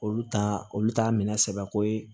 Olu ta olu t'a minɛ sɛbɛ ko ye